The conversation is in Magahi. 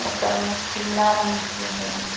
ओकर में पीला रंग से हई ।